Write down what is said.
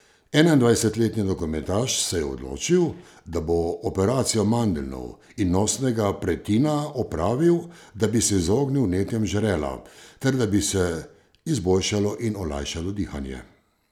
Enaindvajsetletni nogometaš se je odločil, da bo operacijo mandeljnov in nosnega pretina opravil, da bi se izognil vnetjem žrela ter da bi se izboljšalo in olajšalo dihanje.